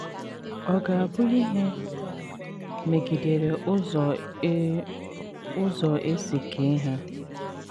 Ọ ga - abụ ihe megidere ụzọ e ụzọ e si kee ha.